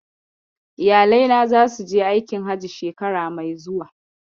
Iyalai na zasu je aikin Hajji shekara mai zuwa.